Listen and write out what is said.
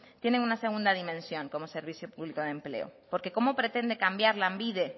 tiene una segunda dimensión como servicio público de empleo porque cómo pretende cambiar lanbide